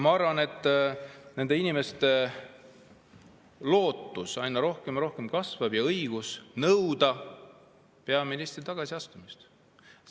Ma arvan, et need inimesed loodavad aina enam ja neil on õigus nõuda sellises olukorras peaministri tagasiastumist.